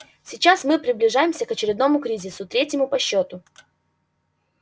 сейчас мы приближаемся к очередному кризису третьему по счёту